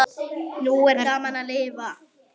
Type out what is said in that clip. Nú er gaman að lifa!